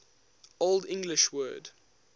old english word